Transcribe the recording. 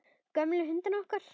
Gömlu hundana okkar.